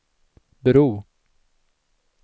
bro